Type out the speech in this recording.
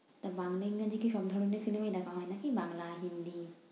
তা বাংলা, ইংরেজি কি সব ধরণের cinema ই দেখা হয় নাকি বাংলা, হিন্দি?